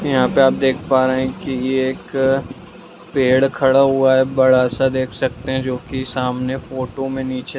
यहाँ पे आप देख पा रहे है की यह एक पेड़ खड़ा हुआ है बड़ा-सा देख सकते हैं जो की सामने फोटो में नीचे --